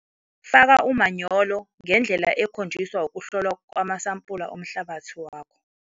Faka umanyolo ngendlela ekhonjiswa ukuhlolwa kwamasampula omhlabathi wakho.